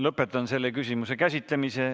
Lõpetan selle küsimuse käsitlemise.